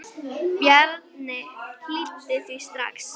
Ég heyri Véstein kjökra.